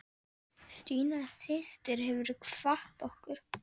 Stína systir hefur kvatt okkur.